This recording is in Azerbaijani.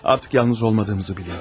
Artıq tək olmadığımızı bilirəm.